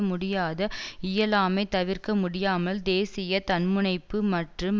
முடியாத இயலாமை தவிர்க்க முடியாமல் தேசிய தன்முனைப்பு மற்றும்